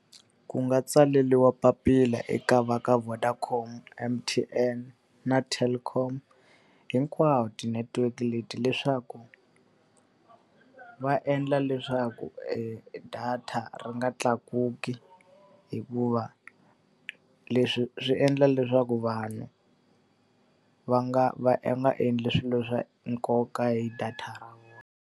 Ku nga tsaleriwa papila eka va ka Vodacom, M_T_N na Telkom hinkwawo ti-network leti leswaku, va endla leswaku data ri nga tlakuki hikuva leswi swi endla leswaku vanhu va nga va va nga endli swilo swa nkoka hi data ra vona.